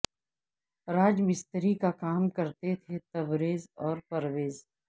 راج مستری کا کام کرتے تھے تبریز اور پرویز